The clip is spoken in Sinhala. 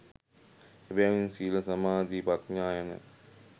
එබැවින් සීල සමාධි ප්‍රඥා යන